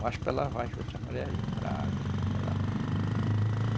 Mas para lavar juta as mulheres iam para água também lavar.